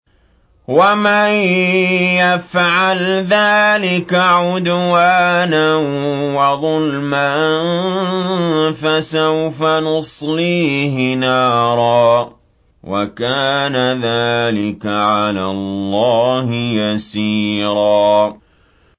وَمَن يَفْعَلْ ذَٰلِكَ عُدْوَانًا وَظُلْمًا فَسَوْفَ نُصْلِيهِ نَارًا ۚ وَكَانَ ذَٰلِكَ عَلَى اللَّهِ يَسِيرًا